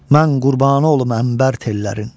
Mən qurbanı olum ənbər tellərin.